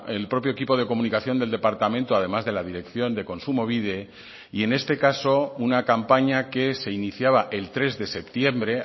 el propio equipo de comunicación del departamento además de la dirección de kontsumobide y en este caso una campaña que se iniciaba el tres de septiembre